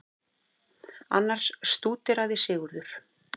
Annars stúderaði Sigurður